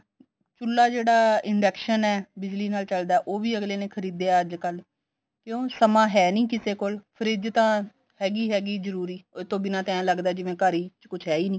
ਚੁੱਲਾ ਜਿਹੜਾ induction ਐ ਬਿਜਲੀ ਨਾਲ ਚੱਲਦਾ ਉਹ ਵੀ ਅੱਗਲੇ ਨੇ ਖਰੀਦਿਆ ਅੱਜਕਲ ਕਿਉਂ ਸਮਾਂ ਹੈ ਨੀ ਕਿਸੇ ਕੋਲ ਫਰਿਜ਼ ਤਾਂ ਹੈਗੀ ਹੈਗੀ ਜਰੂਰੀ ਉਹ ਤੋਂ ਬਿਨਾਂ ਤਾਂ ਐ ਲੱਗਦਾ ਘਰ ਵਿੱਚ ਕੁੱਛ ਹੈ ਈ ਨੀ